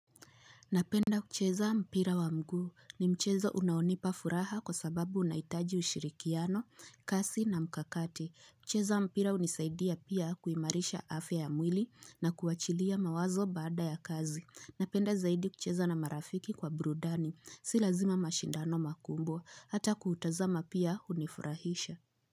Napenda kucheza mpira wa mgu ni mchezo unaonipa furaha kwa sababu unaitaji ushirikiano, kasi na mkakati. Kucheza mpira unisaidia pia kuimarisha afia ya mwili na kuachilia mawazo bada ya kazi. Napenda zaidi kucheza na marafiki kwa brudani. Si lazima mashindano makumbwa. Hata kuutazama pia unifurahisha.